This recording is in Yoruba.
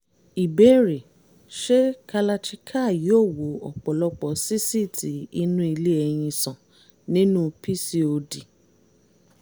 ìbéèrè: ṣé kalarchikai yóò wo ọ̀pọ̀lọpọ̀ sísíìtì inú ilé-ẹyin sàn nínú pcod?